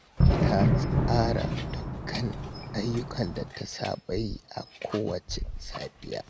Ta tsara dukkan ayyukan da ta saba yi a kowacce safiya